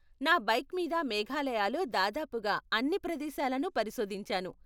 నా బైక్ మీద మేఘాలయలో దాదాపుగా అన్ని ప్రదేశాలను పరిశోధించాను.